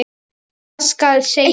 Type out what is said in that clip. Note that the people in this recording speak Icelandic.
Hvað skal segja?